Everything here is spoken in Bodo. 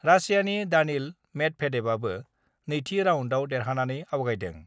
रासियानि दानिल मेदभेदेभआबो नैथि राउन्डआव देरहानानै आवगायदों।